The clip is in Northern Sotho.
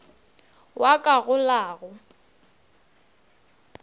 wa ka go la go